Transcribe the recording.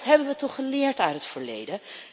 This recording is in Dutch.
Dat hebben we toch geleerd uit het verleden?